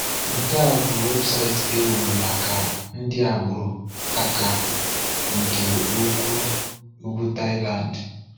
Nke a bụ weebụsaịtị e wuru maka ndị agbụrụ Akha nke ugwu ugwu Thailand.